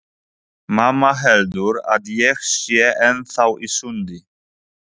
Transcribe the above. Mamma heldur að ég sé ennþá í sundi.